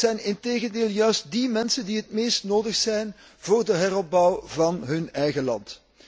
Het zijn integendeel juist die mensen die het meest nodig zijn voor de heropbouw van hun eigen land.